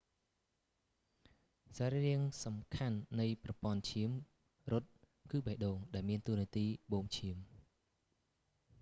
សរីរាង្គសំខាន់នៃប្រព័ន្ធឈាមរត់ គឺបេះដូង ដែលមានតួនាទីបូមឈាម